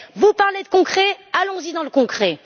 Vous parlez de concret, allons y dans le concret!